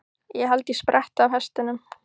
Ég held ég spretti af hestunum.